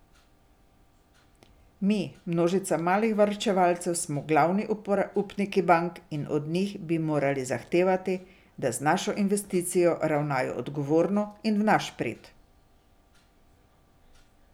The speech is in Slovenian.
Mi, množica malih varčevalcev smo glavni upniki bank in od njih bi morali zahtevati, da z našo investicijo ravnajo odgovorno in v naš prid.